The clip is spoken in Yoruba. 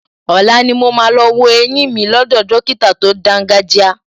Ọ̀la ni mo máa lọ wo eyín mi lọ́dọ̀ dọ́kítà tó dáńgájíá.